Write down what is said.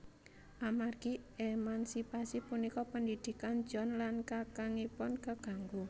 Amargi emansipasi punika pendidikan John lan kakangipun kaganggu